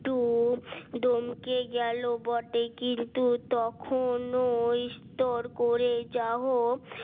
two ডমকে গেল বটে কিন্তু তখন ওই স্টোর করে যাহোক